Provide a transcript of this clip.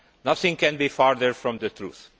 Nothing could be further from the truth.